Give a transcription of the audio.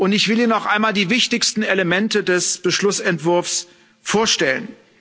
Ich will Ihnen noch einmal die wichtigsten Elemente des Beschlussentwurfs vorstellen.